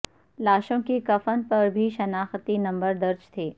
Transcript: لاشوں کے کفن پر بھی شناختی نمبر درج تھے